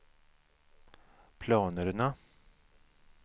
planerna